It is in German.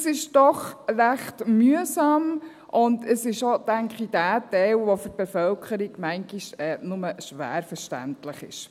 Dies ist doch ziemlich mühsam und dies ist auch der Teil – denke ich –, der für die Bevölkerung manchmal nur schwer verständlich ist.